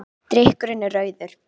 Drykkurinn er rauður.